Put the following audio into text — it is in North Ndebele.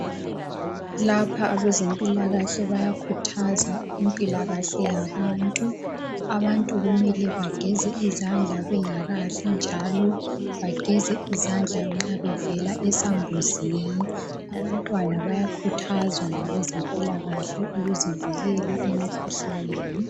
Lapha abezempilakahle bayakhuthaza impilakahle yabantu. Abantu kumele bageze izandla bengakadli njalo bageze izandla nxa bevela esambuzini. Abantwana bayakhuthazwa ngabezempilakahle ukuzivikela emikhuhlaneni.